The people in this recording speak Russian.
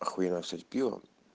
охуенное всё это пиво